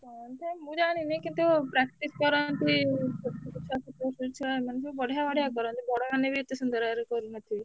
ହଁ ମୁଁ ଜାଣିନି କିନ୍ତୁ practice କରନ୍ତି ଛୋଟଛୁଆ ଛୋଟ ଛୁଆ ଏମାନେ ସବୁ ବଢିଆ ବଢିଆ କରନ୍ତି ବଡ ମାନେ ବି ଏତେ ସୁନ୍ଦର ବାଗରେ କରୁନ ଥିବେ।